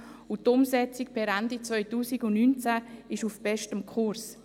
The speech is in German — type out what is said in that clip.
Die Umsetzung per Ende 2019 ist auf bestem Kurs.